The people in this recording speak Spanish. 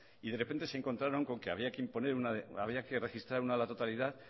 y de repente se encontraron con que había que registrar una a la totalidad